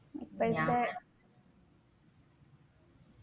പക്ഷേ